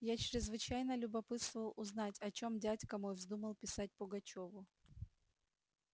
я чрезвычайно любопытствовал узнать о чем дядька мой вздумал писать пугачёву